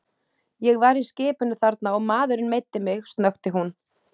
Ég var í skipinu þarna og maðurinn meiddi mig snökti hún.